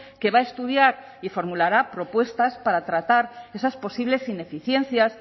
que va a estudiar y formulará propuestas para tratar esas posibles ineficiencias